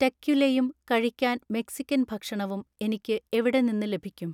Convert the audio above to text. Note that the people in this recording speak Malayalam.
ടെക്വിലയും കഴിക്കാൻ മെക്സിക്കൻ ഭക്ഷണവും എനിക്ക് എവിടെ നിന്ന് ലഭിക്കും